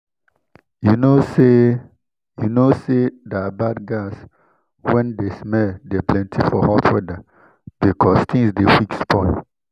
you know say you know say that bad gas wen de smell dey plenty for hot weather because things dey quick spoil